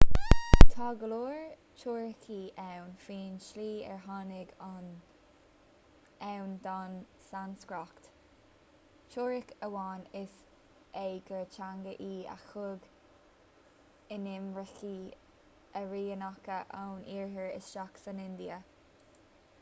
tá go leor teoiricí ann faoin tslí ar tháinig ann don sanscrait teoiric amháin is ea gur teanga í a thug inimircigh airianacha ón iarthar isteach san india